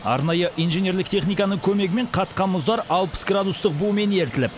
арнайы инженерлік техниканың көмегімен қатқан мұздар алпыс градустық бумен ерітіліп